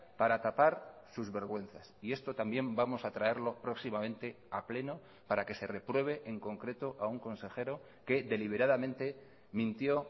para tapar sus vergüenzas y esto también vamos a traerlo próximamente a pleno para que se repruebe en concreto a un consejero que deliberadamente mintió